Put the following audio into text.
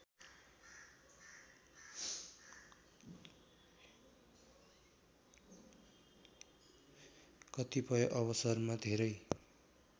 कतिपय अवसरमा धेरै